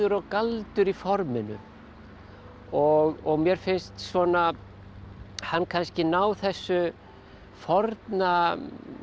og galdur í forminu og og mér finnst svona hann kannski ná þessu forna